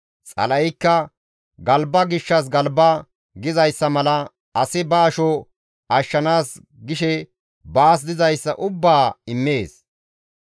Xala7eykka, «Galba gishshas galba» gizayssa mala «Asi ba asho ashshanaas gishe baas dizayssa ubbaa immees.